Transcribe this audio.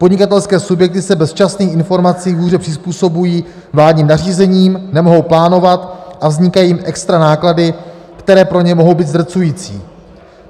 Podnikatelské subjekty se bez včasných informací hůře přizpůsobují vládním nařízením, nemohou plánovat a vznikají jim extra náklady, které pro ně mohou být zdrcující.